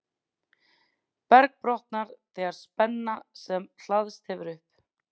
berg brotnar þegar spenna sem hlaðist hefur upp